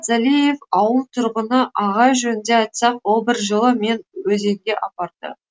залиев ауыл тұрғыны ағай жөнінде айтсақ ол бір жылы мен өзенге апарды